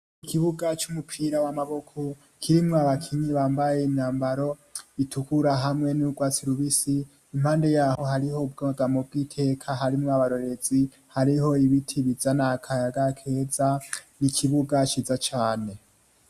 I kibuga c'umupira wamaboko kirimwo abakinyi bambaye inambaro itukura hamwe n'urwatsilubisi impande yaho hariho ubwagamo bw'iteka harimwo abarorezi hariho ibiti bizana akayaga keza n'ikibuga ciza cane.